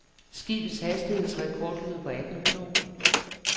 Skibets hastighedsrekord lyder på atten knob.